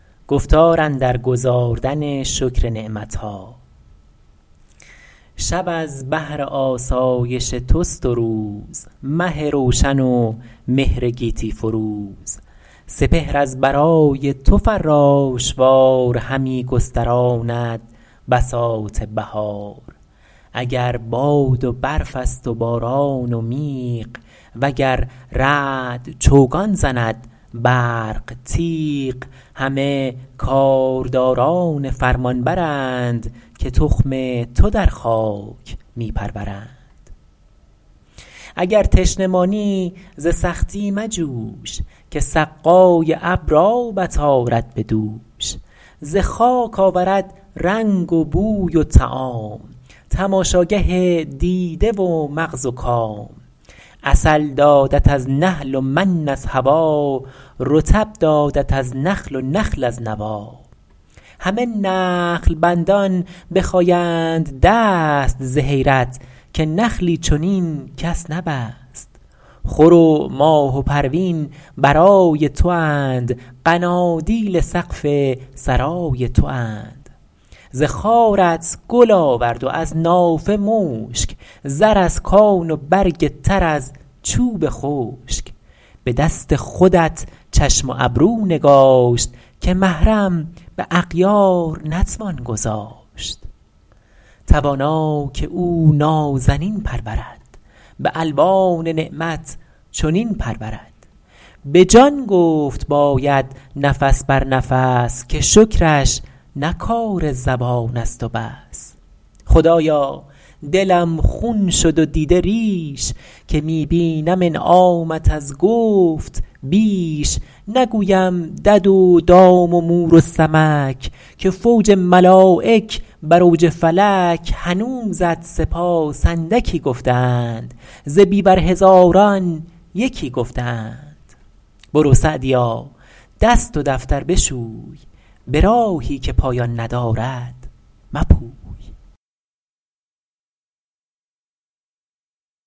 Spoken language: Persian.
شب از بهر آسایش توست و روز مه روشن و مهر گیتی فروز سپهر از برای تو فراش وار همی گستراند بساط بهار اگر باد و برف است و باران و میغ وگر رعد چوگان زند برق تیغ همه کارداران فرمانبر ند که تخم تو در خاک می پرورند اگر تشنه مانی ز سختی مجوش که سقای ابر آبت آرد به دوش ز خاک آورد رنگ و بوی و طعام تماشاگه دیده و مغز و کام عسل دادت از نحل و من از هوا رطب دادت از نخل و نخل از نوی همه نخل بندان بخایند دست ز حیرت که نخلی چنین کس نبست خور و ماه و پروین برای تواند قنادیل سقف سرای تواند ز خارت گل آورد و از نافه مشک زر از کان و برگ تر از چوب خشک به دست خودت چشم و ابرو نگاشت که محرم به اغیار نتوان گذاشت توانا که او نازنین پرورد به الوان نعمت چنین پرورد به جان گفت باید نفس بر نفس که شکرش نه کار زبان است و بس خدایا دلم خون شد و دیده ریش که می بینم انعامت از گفت بیش نگویم دد و دام و مور و سمک که فوج ملایک بر اوج فلک هنوزت سپاس اندکی گفته اند ز بیور هزاران یکی گفته اند برو سعدیا دست و دفتر بشوی به راهی که پایان ندارد مپوی